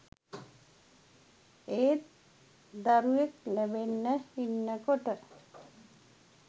ඒත් දරුවෙක් ලැබෙන්න ඉන්නකොට